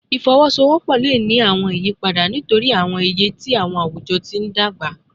Ifowosowopo le ni awọn iyipada nitori awọn iye ti awujọ ti n dagba